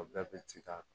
O bɛɛ bɛ ci da kɔnɔ